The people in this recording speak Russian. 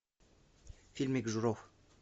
фильмик журов